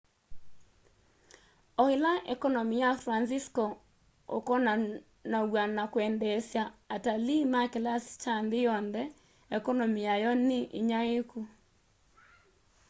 o ila ekonomi ya francisco ukonanaw'a na kwendeesya atalii ma kilasi kya nthi yonthe ekonomi yayo ni inyaiiku